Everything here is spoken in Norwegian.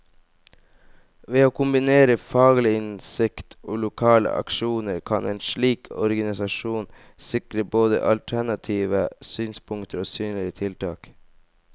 Ved å kombinere faglig innsikt og lokale aksjoner, kan en slik organisasjon sikre både alternative synspunkter og synlige tiltak.